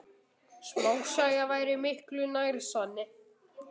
Smásaga væri miklu nær sanni.